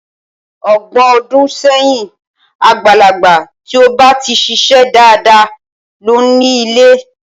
Ọgbọ̀n ọdún sẹ́yìn, àgbàlagbà tí ó ba ti ṣiṣẹ́ dáadáa ló ń ile.